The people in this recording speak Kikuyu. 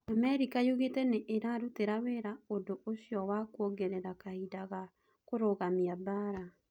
Amerika yugite niirarutira wira undũ ucio wa kũongerera kahinda ga kurugamia mbara.